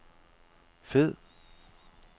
fed